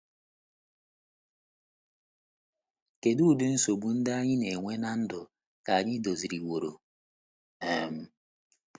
Kedu udi Nsogbu ndị anyị na - enwe ná ndụ ka anyị doziliworo? um